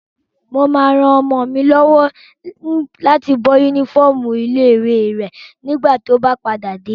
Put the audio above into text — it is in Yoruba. Mo máa ran ọmọ mi lọ́wọ́ láti bọ́ yúnífọ́ọ̀mù ilé-ìwé rẹ̀ nígbà tó bá padà dé